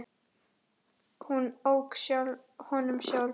Hún ók honum sjálf.